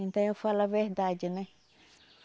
Então eu falo a verdade, né?